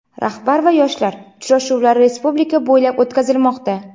"Rahbar va yoshlar" uchrashuvlari respublika bo‘ylab o‘tkazilmoqda.